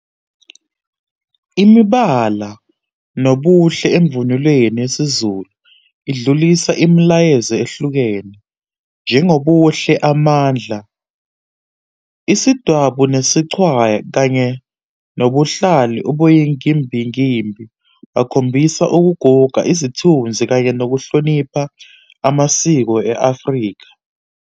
Imibala nobuhle emvunuleni yesiZulu idlulisa imilayezo ehlukene njengobuhle amandla, isidwabu, nesichwaya kanye nobuhlalu obuyinkimbinkimbi bakhombisa ukuguga, izithunzi kanye nokuhlonipha amasiko e-Afrika.